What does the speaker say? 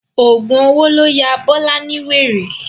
Ọ̀gùn owó ló ya Bọ́lá ní wèrè.